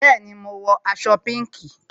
Bẹẹni, mo ń wọ aṣọ pinki